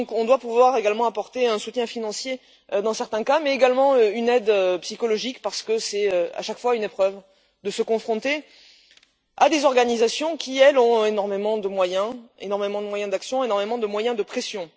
C'est pourquoi nous devons pouvoir également apporter un soutien financier dans certains cas, mais également une aide psychologique, parce que c'est à chaque fois une épreuve de se confronter à des organisations qui, elles, ont énormément de moyens énormément de moyens d'action et de moyens de pression.